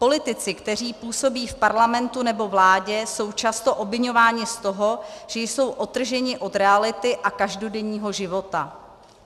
Politici, kteří působí v Parlamentu nebo vládě, jsou často obviňováni z toho, že jsou odtrženi od reality a každodenního života.